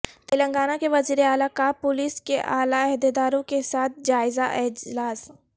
تلنگانہ کے وزیراعلی کاپولیس کے اعلی عہدیداروں کے ساتھ جائزہ اجلاس